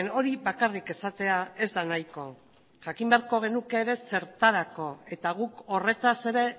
hori bakarrik esatea ez da nahiko jakin beharko genuke ere zertarako eta guk horretaz ere